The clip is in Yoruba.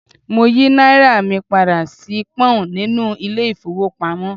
Mo yí náírà mi padà sí Pọ́ǹ nínú ilé ìfowópamọ́.